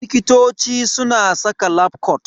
Likitoci suna saka lafcot.